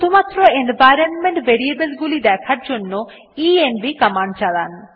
শুধুমাত্র environment variable গুলি দেখার জন্য ইএনভি কমান্ড চালান